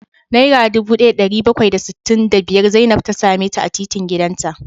Naira dubu daya da dari bakwai da sittin da biyar Zainab ta same ta a titin gidanta